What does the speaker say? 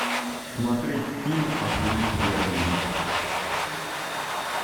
смотреть фильм астерикс и обеликс